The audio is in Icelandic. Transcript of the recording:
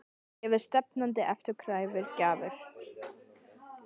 Gefi stefnandi afturkræfar gjafir?